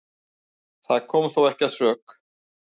Það kom þó ekki að sök